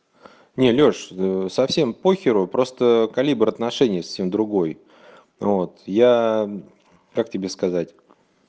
не лёш совсем похеру просто калибр отношений совсем другой вот я как тебе сказать